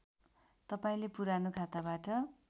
तपाईँले पुरानो खाताबाट